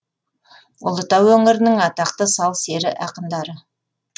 ұлытау өңірінің атақты сал сері ақындары